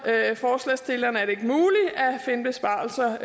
forslagsstillerne er det ikke muligt at finde besparelser